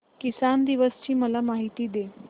किसान दिवस ची मला माहिती दे